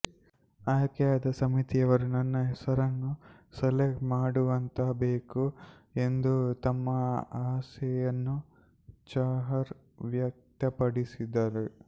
ಆಯ್ಕೆದಾರ ಸಮಿತಿಯವರು ನನ್ನ ಹೆಸರನ್ನು ಸೆಲೆಕ್ಟ್ ಮಾಡುವಂತಾಗಬೇಕು ಎಂದು ತಮ್ಮ ಆಸೆಯನ್ನು ಚಾಹರ್ ವ್ಯಕ್ತಪಡಿಸಿದ್ದಾರೆ